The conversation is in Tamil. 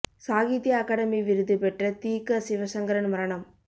சாகித்ய அகாடமி விருது பெற்ற தி க சிவசங்கரன் மரணம்